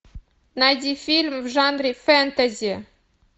найди фильм в жанре фэнтези